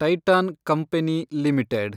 Titan company limited